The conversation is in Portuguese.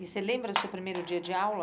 E você lembra do seu primeiro dia de aula?